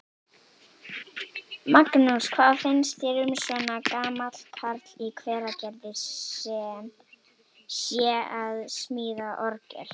Magnús: Hvað finnst þér um að svona gamall karl í Hveragerði sé að smíða orgel?